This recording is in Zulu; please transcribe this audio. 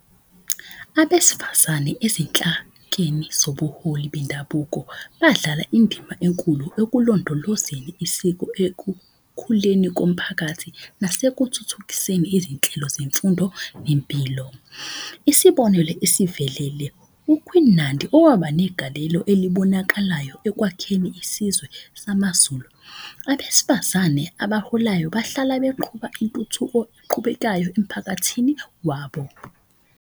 Abesifazane ezinhlakeni zobuholi bendabuko badlala indima enkulu ekulondolozeni isiko. Ekukhuleni komphakathi, nasekuthuthukiseni izinhlelo zemfundo, nempilo. Isibonelo esivelele, u-Queen Nandi owaba negalelo elibonakalayo ekwakheni isizwe samaZulu. Abesifazane abaholayo bahlala beqhuba intuthuko eqhubekayo emphakathini wabo.